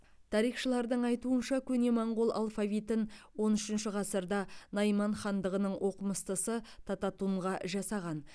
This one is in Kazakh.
тарихшылардың айтуынша көне моңғол алфавитін он үшінші ғасырда найман хандығының оқымыстысы тататунға жасаған